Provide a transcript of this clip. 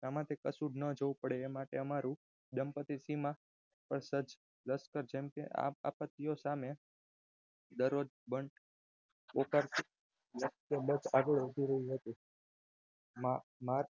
આમાંથી કશુંજ ના જોવું પડે એ માટે અમારી દંપતી સીમા આપત્તિય સામે દરરોજ બંડ પોકારતી આજે ઉભી રહી હતી માર્ગ